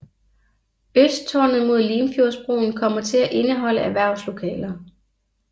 Østtårnet mod Limfjordsbroen kommer til at indeholde erhverslokaler